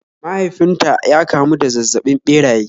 Mahaifin ta ya kamu da zazzabin ɓeraye